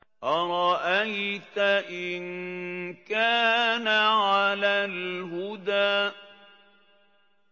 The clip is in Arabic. أَرَأَيْتَ إِن كَانَ عَلَى الْهُدَىٰ